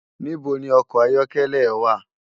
Nibó ni òkò àyòkèlè è wá?